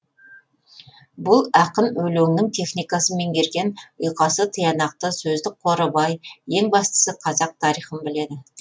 бұл ақын өлеңнің техникасын меңгерген ұйқасы тиянақты сөздік қоры бай ең бастысы қазақ тарихын біледі